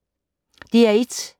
DR1